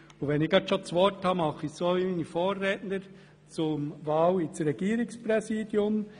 Und da ich gerade das Wort habe, mache ich es so wie meine Vorredner und äussere mich zur Wahl ins Regierungspräsidium.